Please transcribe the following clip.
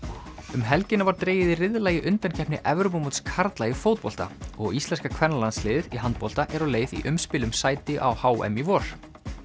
um helgina var dregið í riðla í undankeppni Evrópumóts karla í fótbolta og íslenska kvennalandsliðið í handbolta er á leið í umspil um sæti á h m í vor